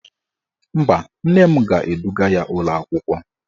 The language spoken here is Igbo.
Mba, nne m ga-eduga ya ụlọakwụkwọ